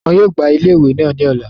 Wọ́n yóò gbá ile iwe naa ní ọ̀la